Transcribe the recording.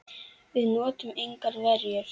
Við notuðum engar verjur.